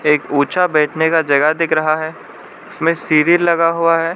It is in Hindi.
एक ऊंचा बैठने का जगह दिख रहा है उसमें सीरिल लगा हुआ है।